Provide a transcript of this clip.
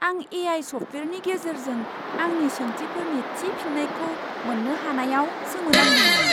आं ए.आइ. सफ्टवेयारनि गेजेरजों आंनि सोंथिफोरनि थि फिननायखौ मोन्नो हानायाव सोमोनांदोंमोन!